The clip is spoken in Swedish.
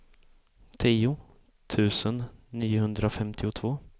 tio tusen niohundrafemtiotvå